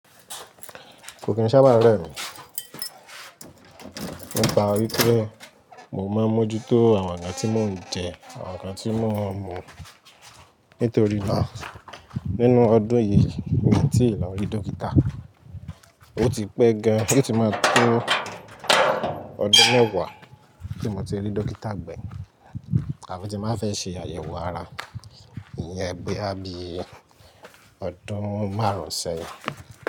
Kò kí n sábà rẹmi. Nípa orí tẹ́, mo máa ń mójú tó àwọn ǹkan tí mò ń jẹ, àwọn ǹkan tí mò ń mú. Nítorí háà nínú ọdún yìí mi tí lọ rí dókítà. Ó ti pẹ́ gan, ó ti máa tó ọdún mẹ́wàá tí mo ti rí dókítà gbẹ̀yìn. Àbí tí máa fẹ́ ṣe àyẹ̀wò ara, ìyẹn boyá bí ọdún márùn-ún sẹ́yìn.